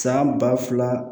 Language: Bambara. San ba fila